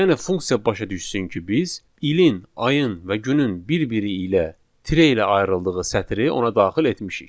Yəni funksiya başa düşsün ki, biz ilin, ayın və günün bir-biri ilə tire ilə ayrıldığı sətri ona daxil etmişik.